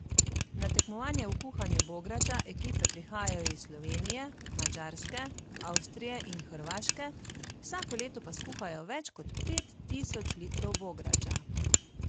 Na tekmovanje v kuhanju bograča ekipe prihajajo iz Slovenije, Madžarske, Avstrije in Hrvaške, vsako leto pa skuhajo več kot pet tisoč litrov bograča.